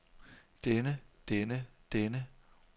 denne denne denne